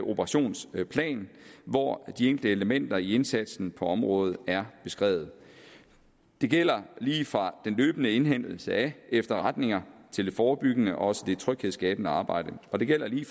operationsplan hvor de enkelte elementer i indsatsen på området er beskrevet det gælder lige fra den løbende indhentning af efterretninger til det forebyggende og også tryghedsskabende arbejde og det gælder lige